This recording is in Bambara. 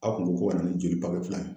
Aw kun ko ko kana ni jeli fila ye